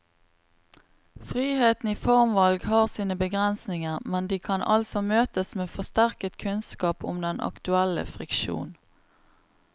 Friheten i formvalg har sine begrensninger, men de kan altså møtes med forsterket kunnskap om den aktuelle friksjon.